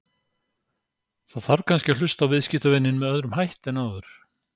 Þarf kannski að hlusta á viðskiptavininn með öðrum hætti en áður?